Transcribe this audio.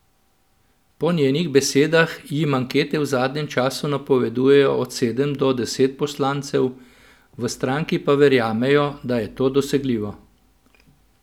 Po njenih besedah jim ankete v zadnjem času napovedujejo od sedem do deset poslancev, v stranki pa verjamejo, da je to dosegljivo.